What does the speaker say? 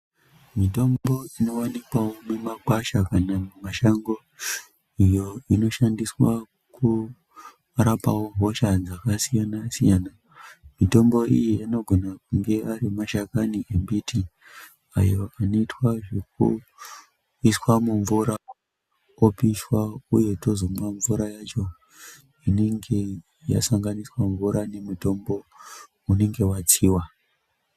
Mitombo inowanikwawo mimakwasha kana mumashango iyo inoshandiswawo kurapa hosha dzakasiyana-siyana. Mitombo iyi anogona kunge ari mashakani embiti ayo anoitwa zvekuiswa mumvura, opishwa uye tozomwa mvura yacho inenge yasanganiswa mvura nemitombo, unenge watsiwa.